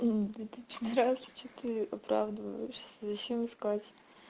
это пидарас что ты оправдываешься зачем искать